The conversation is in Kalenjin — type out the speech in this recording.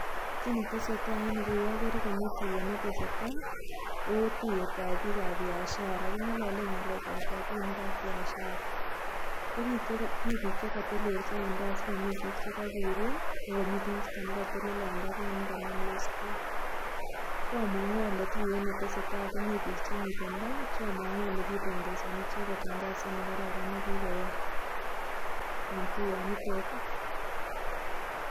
Kiy ne tesestai eng yu agere tuyet ne tesetai, ko tuyetab bi kab biashara. Ki ng'ololen ng'alekap robinik ak biashara. Ko mi biik che katelelsot ak mi biik che ka guurey, ko mi chi ne kateleli ne ka nam los... Koomomgu ale tuyet ne tesetai ko mi biik che miten tai, Cgho moongu kipongesani icheget eng kasit ne kararan ne kigoyai. Eng' tuyot nitet.